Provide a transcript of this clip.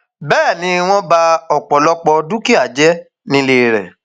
bẹẹ ni wọn ba ọpọlọpọ dúkìá jẹ nílé rẹ